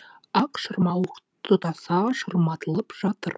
ақ шырмауық тұтаса шырматылып жатыр